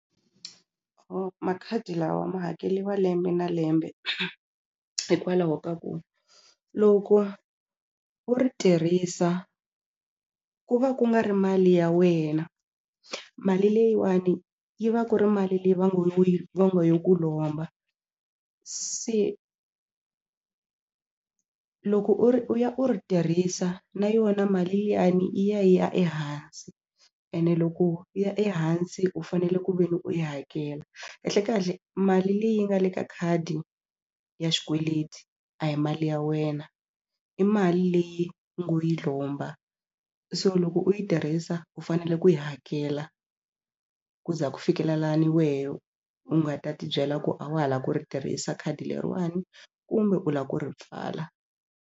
makhadi lawa ma hakeliwa lembe na lembe hikwalaho ka ku loko u ri tirhisa ku va ku nga ri mali ya wena mali leyiwani yi va ku ri mali leyi va ngo va ngo yo ku lomba se loko u ri u ya u ri tirhisa na yona mali liyani yi ya yi ya ehansi ene loko yi ya ehansi u fanele ku ve ni u yi hakela kahlekahle mali leyi nga le ka khadi ya xikweleti a hi mali ya wena i mali leyi u ngo yi lomba so loko u yi tirhisa u fanele ku yi hakela ku za ku fikela lani wehe u nga ta tibyela ku a wa ha la ku ri tirhisa khadi leriwani kumbe u lava ku ri pfala.